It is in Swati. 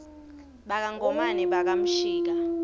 baka ngomane baka mshika